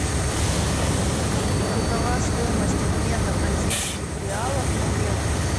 какова стоимость обмена бразильских реалов на евро